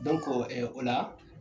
, ɛɛ o la